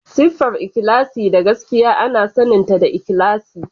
Siffar ikhlasi da gaskiya ana saninta da ikhlasi.